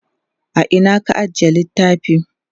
a Ina ka ajiye littafi?